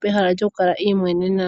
pehala lyoku kala iimwenena.